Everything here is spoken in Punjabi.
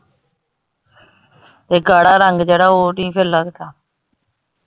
ਤੇ ਗਾੜਾ ਰੰਗ ਜਿਹੜਾ ਉਹ ਨਹੀਂ ਫਿਰ ਲਗਦਾ।